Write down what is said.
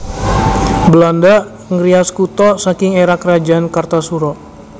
Belanda ngrias kutha saking éra Kerajaan Kartasura